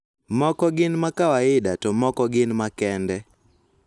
Moko gin ma kawaida to moko gin makende.